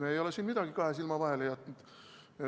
Me ei ole siin midagi kahe silma vahele jätnud.